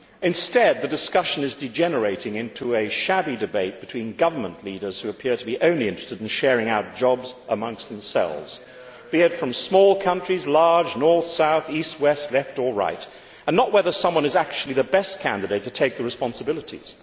Instead, the discussion is degenerating into a shabby debate between government leaders who appear only to be interested in sharing out jobs amongst themselves, be it from small or large countries, north, south, east, west, Left or Right, and not whether someone is actually the best candidate to take the responsibilities.